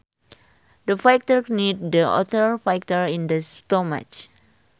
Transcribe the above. The fighter kneed the other fighter in the stomach